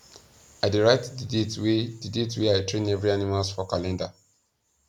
i da write the date wa the date wa i train every animals for calender